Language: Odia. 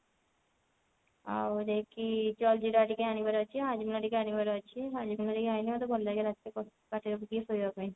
ଆଉ ଯାଇକି jaljeera ଟିକେ ଆଣିବାର ଅଛି Hajmola ଟିକେ ଆଣିବାର ଅଛି Hajmola ଯାଇକି ଖାଇଲେ ମୋତେ ଭଲ ଲାଗେ ରାତିରେ ଶାନ୍ତି ରେ ଟିକେ ଶୋଇବା ପାଇଁ